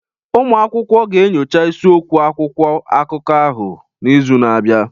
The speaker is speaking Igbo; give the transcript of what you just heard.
Ụmụ akwụkwọ ga-enyocha isiokwu akwụkwọ akụkọ ahụ n'izu na-abịa